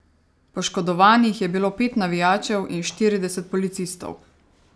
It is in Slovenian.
Poškodovanih je bilo pet navijačev in štirideset policistov.